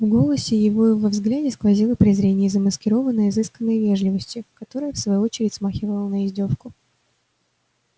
в голосе его и во взгляде сквозило презрение замаскированное изысканной вежливостью которая в свою очередь смахивала на издёвку